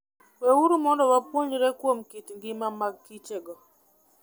Weuru mondo wapuonjre kuom kit ngima magkichogo.